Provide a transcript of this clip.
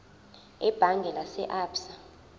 ebhange lase absa